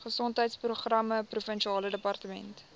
gesondheidsprogramme provinsiale departement